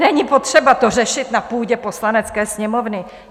Není potřeba to řešit na půdě Poslanecké sněmovny.